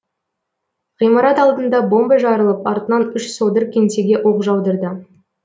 ғимарат алдында бомба жарылып артынан үш содыр кеңсеге оқ жаудырды